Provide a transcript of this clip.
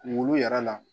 Kunkolo yɛrɛ la